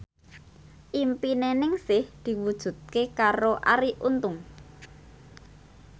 impine Ningsih diwujudke karo Arie Untung